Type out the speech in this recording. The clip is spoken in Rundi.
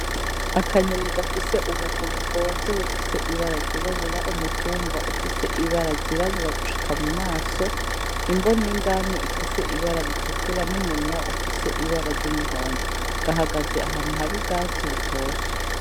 Akanyoni gafise ubuguru bwonze bufise ibara ry'irabura umutumba ufise ibara ry'irabura gushika mu maso, imboni yindani ifise ibara ritukura n'umunwa ufise ibara ry'umuhondo, gahagaze ahantu hari ubwatsi butoshe.